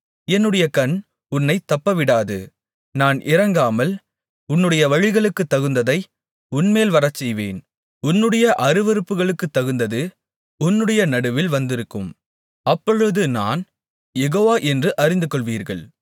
என்னுடைய கண் உன்னைத் தப்பவிடாது நான் இரங்காமல் உன்னுடைய வழிகளுக்குத்தகுந்ததை உன்மேல் வரச்செய்வேன் உன்னுடைய அருவருப்புகளுக்குத்தகுந்தது உன்னுடைய நடுவில் வந்திருக்கும் அப்பொழுது நான் யெகோவா என்று அறிந்துகொள்வீர்கள்